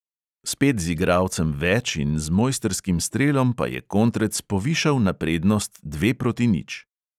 Spet z igralcem več in z mojstrskim strelom pa je kontrec povišal na prednost dve proti nič.